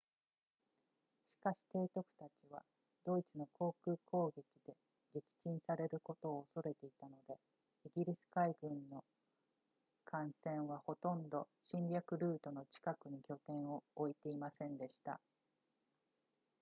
しかし提督たちはドイツの航空攻撃で撃沈されることを恐れていたのでイギリス海軍の艦船はほとんど侵略ルートの近くに拠点を置いていませんでした